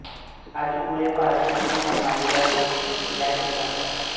ਅੱਜ ਪੂਰੇ ਭਾਰਤ ਵਿੱਚ ਮਹਾਮਾਰੀ ਦਾ ਰੂਪ ਲੈ ਚੁੱਕਾ ਹੈ